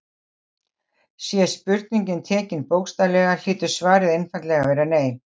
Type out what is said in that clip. Sé spurningin tekin bókstaflega hlýtur svarið einfaldlega að vera nei.